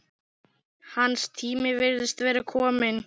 Hans tími virðist vera kominn.